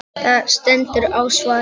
Það stendur á svari.